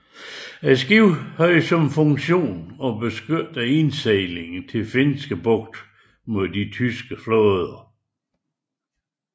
Skibet havde som funktion at beskytte indsejlingen til Finske bugt mod den tyske flåde